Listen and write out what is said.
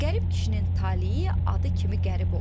Qərib kişinin taleyi adı kimi qərib olub.